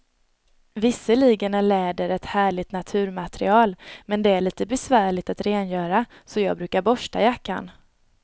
Visserligen är läder ett härligt naturmaterial, men det är lite besvärligt att rengöra, så jag brukar borsta jackan.